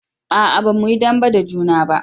a'a ba mu yi dambe da juna ba